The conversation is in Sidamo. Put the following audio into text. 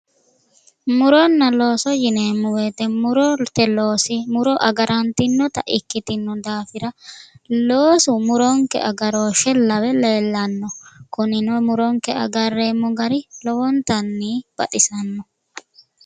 Muronna looso yineemmo woyiite murote loosi muro agarantinota ikkitino daafira loosu muronke agarooshshe lawe leellanno kunino muronke agarreemmo gari lowontanni baxisanno